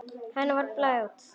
Henni var að blæða út.